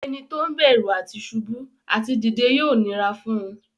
Ẹni tó ń bẹ̀rù àti ṣubú àti dìde yóò nira fún un.